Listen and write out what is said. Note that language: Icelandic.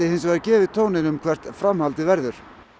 gefið tóninn um hvert framhaldið verður